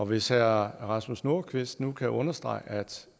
hvis herre rasmus nordqvist nu kan understrege at